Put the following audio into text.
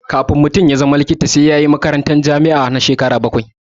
Kan mutum ya zama likita sai yayi makarantar jami'a na akalla shekara bakwai